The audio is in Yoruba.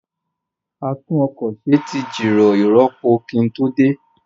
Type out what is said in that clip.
A tún ọkọ̀ ṣe tí jìrọ̀ ìrọpo kí n tó dé